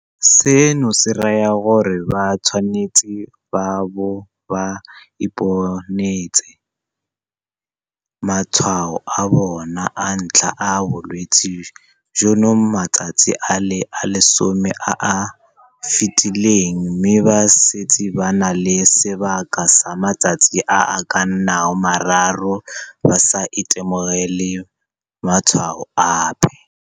Seno se raya gore ba tshwanetse ba bo ba iponetse matshwao a bona a ntlha a bolwetse jono matsatsi a le 10 a a fetileng mme ba setse ba na le sebaka sa matsatsi a ka nna a mararo ba sa itemogele matshwao ape.